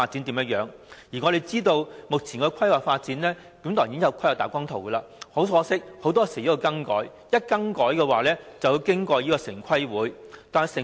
我們知道，目前已有規劃大綱圖，很可惜，很多時候會作出更改，而更改便要經城市規劃委員會審核。